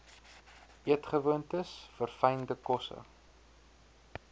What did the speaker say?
eetgewoontes verfynde kosse